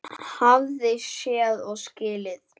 Hafði séð og skilið.